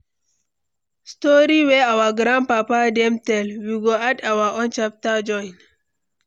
Story wey our grandpapa dem tell, we go add our own chapter join.